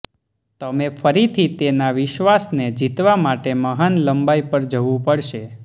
તમે ફરીથી તેના વિશ્વાસને જીતવા માટે મહાન લંબાઈ પર જવું પડશે